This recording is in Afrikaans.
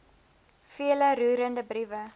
vele roerende briewe